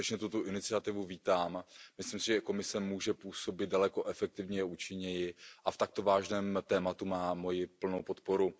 Skutečně tuto iniciativu vítám, myslím si, že i Komise může působit daleko efektivněji a účinněji a v takto vážném tématu má moji plnou podporu.